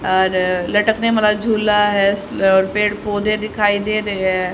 और लटकने वाला झूला है और पेड़ पौधे दिखाई दे रहे हैं।